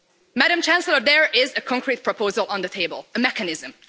Madam Chancellor, there is a concrete proposal on the table, a mechanism.